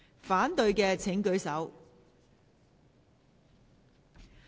反對的請舉手。